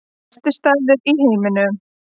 Besti staður í heiminum